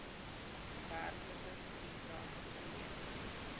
werklike stukrag verleen